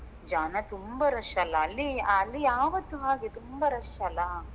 ಜನ ತುಂಬಾ rush ಅಲ್ಲಾ ಅಲ್ಲಿ ಅಲ್ಲಿ ಯಾವತ್ತೂ ಹಾಗೆ ತುಂಬಾ rush ಅಲ್ಲಾ.